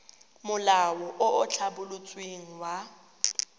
molao o o tlhabolotsweng wa